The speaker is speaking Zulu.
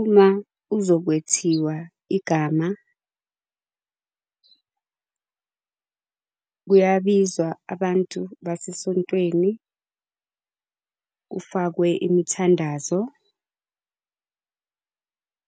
Uma uzokwethiwa igama kuyabizwa abantu basesontweni, kufakwe imithandazo.